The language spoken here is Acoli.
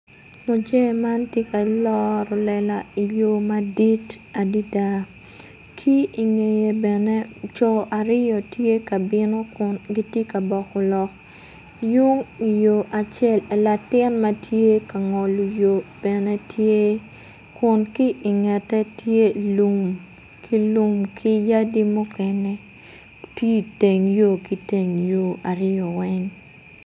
Muje man tye ka loro lela iyo madit adada ki ingeye bene co aryo tye ka bino kun gitye ka boko lok yung layo acel latin matye kangolo yo bene tye kun ki ingete tye lum ki lum ki yadi mukene tye i teng yo ki teng yo aryo weng.